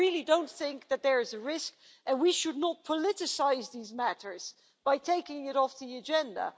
So I really don't think that there is a risk, and we should not politicise these matters by taking it off the agenda.